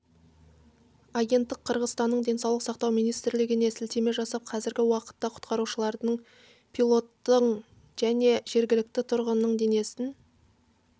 агенттік қырғызстанның денсаулық сақтау министрлігіне сілтеме жасап қазіргі уақытта құтқарушылардың пилоттың және жергілікті тұрғынның денесін